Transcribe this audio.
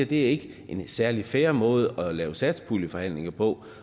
det ikke er en særlig fair måde at lave satspuljeforhandlinger på